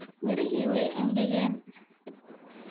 Mirixi way engengeen.